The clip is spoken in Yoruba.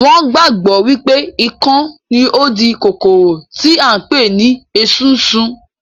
Wọn gbàgbọ́ wípé ikán ni ó ń di kòkòrò tí à ń pè ní esunsun